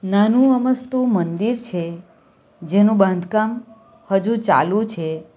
નાનું અમસ્તું મંદિર છે જેનું બાંધકામ હજુ ચાલુ છે.